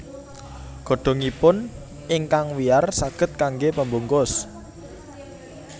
Godhongipun ingkang wiyar saged kanggé pembungkus